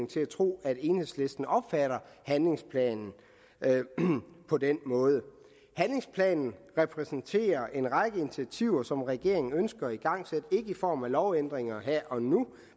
til at tro at enhedslisten opfatter handlingsplanen på den måde handlingsplanen repræsenterer en række initiativer som regeringen ønsker at igangsætte ikke initiativer i form af lovændringer her og nu